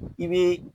I bɛ